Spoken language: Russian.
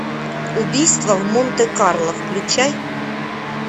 убийство в монте карло включай